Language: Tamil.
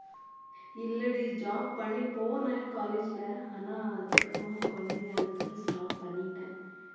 இல்லடி job பண்ண போனேன் college ல ஆனா அதுக்கு அப்புறமா குழந்தைங்க stop பண்ணிட்டேன்